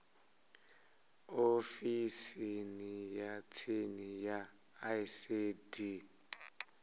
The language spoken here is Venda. ofisini ya tsini ya icd